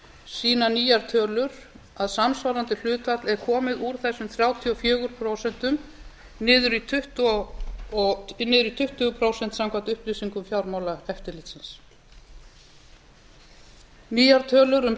sýna nýjar tölur að samsvarandi hlutfall er komið úr þessum þrjátíu og fjögur prósent niður í tuttugu prósent samkvæmt upplýsingum fjármálaeftirlitsins nýjar tölur um